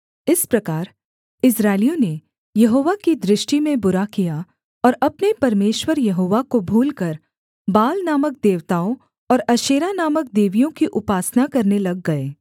इस प्रकार इस्राएलियों ने यहोवा की दृष्टि में बुरा किया और अपने परमेश्वर यहोवा को भूलकर बाल नामक देवताओं और अशेरा नामक देवियों की उपासना करने लग गए